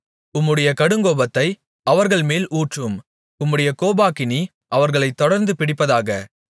உம்முடைய கடுங்கோபத்தை அவர்கள்மேல் ஊற்றும் உம்முடைய கோபாக்கினி அவர்களைத் தொடர்ந்து பிடிப்பதாக